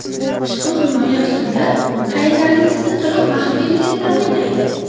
Ushbu himoya usuli fayllaringizning to‘liq maxfiyligini ta’minlaydi.